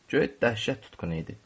Göy dəhşət tutqunu idi.